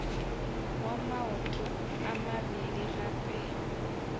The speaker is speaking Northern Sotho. wa maoto a mabedi gape